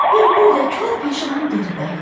Bülbül də kor peşman geri qayıtdı.